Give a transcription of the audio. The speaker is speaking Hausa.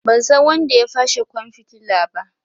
Ban san wanda ya fashe kwan fitila ba.